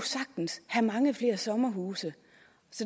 have mange flere sommerhuse